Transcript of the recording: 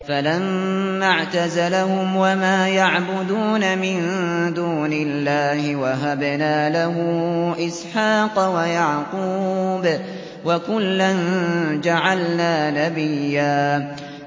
فَلَمَّا اعْتَزَلَهُمْ وَمَا يَعْبُدُونَ مِن دُونِ اللَّهِ وَهَبْنَا لَهُ إِسْحَاقَ وَيَعْقُوبَ ۖ وَكُلًّا جَعَلْنَا نَبِيًّا